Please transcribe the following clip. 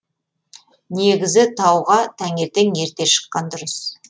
негізі тауға таңертең ерте шыққан дұрыс